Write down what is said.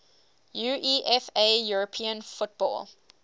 uefa european football